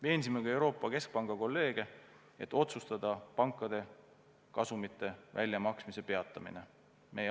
Veensime ka Euroopa Keskpanga kolleege otsustama pankade kasumite väljamaksmise peatamine.